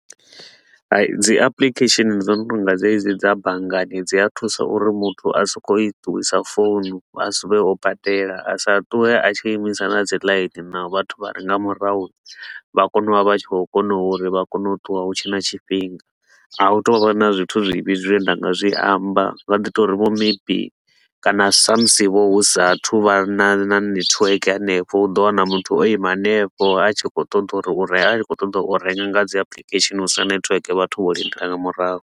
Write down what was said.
Dzi application dzo no tou nga dzedzi dza banngani dzi a thusa uri muthu a so ko u i ṱuwisa phone, a suvhe u badela, a sa ṱuwe a tshi yo imisa na dzi laini na vhathu vha re nga murahu vha kone u vha vha tshi khou kona uri vha kone u ṱuwa hu tshe na tshifhinga. A hu tou vha na zwithu zwivhi zwine nda nga zwi amba, ndi nga ḓi to uri vho maybe kana sa musi vho hu sa a thu vha na na network hanefho, u ḓo wana muthu o ima hanefho a tshi khou ṱoḓa uri a tshi khou ṱoḓa u renga nga dzi application hu sina network vhathu vho lindela nga murahu.